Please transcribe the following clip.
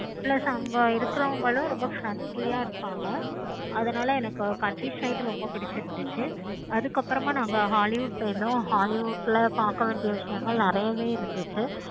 plus அங்க இருக்கவங்களும் ரொம்ப friendly யா இருப்பாங்க. அதனால எனக்கு country side ரொம்ப பிடிச்சிருந்துச்சி. அதுக்கு அப்பறம் நாங்க hollywood உம் போயிருந்தோம். hollywood ல பார்க்க வேண்டிய விஷயங்கள் நெறையாவே இருந்துச்சு.